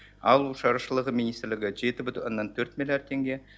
ауыл шаруашылығы министрлігі жеті бүтін оннан төрт миллиард теңге